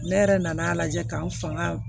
Ne yɛrɛ nan'a lajɛ ka n fanga